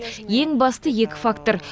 ең басты екі фактор